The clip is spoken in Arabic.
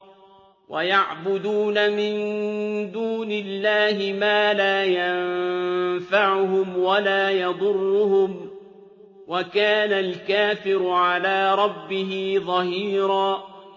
وَيَعْبُدُونَ مِن دُونِ اللَّهِ مَا لَا يَنفَعُهُمْ وَلَا يَضُرُّهُمْ ۗ وَكَانَ الْكَافِرُ عَلَىٰ رَبِّهِ ظَهِيرًا